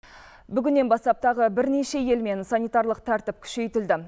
бүгіннен бастап тағы бірнеше елмен санитарлық тәртіп күшейтілді